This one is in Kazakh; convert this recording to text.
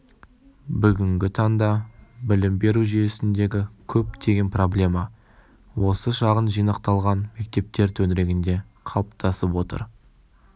бүгінгі таңда білім беру жүйесіндегі көптеген проблема осы шағын жинақталған мектептер төңірегінде қалыптасып отыр